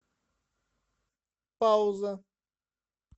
пауза